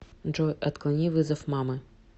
джой отклони вызов мамы